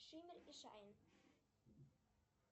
шиммер и шайн